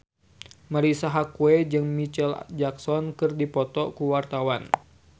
Marisa Haque jeung Micheal Jackson keur dipoto ku wartawan